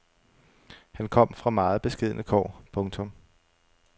Han kom fra meget beskedne kår. punktum